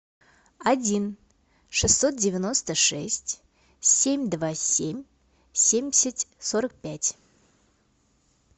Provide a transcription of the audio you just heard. один шестьсот девяносто шесть семь два семь семьдесят сорок пять